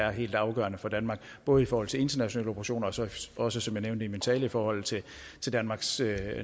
er helt afgørende for danmark både i forhold til internationale operationer og så også som jeg nævnte i min tale i forhold til danmarks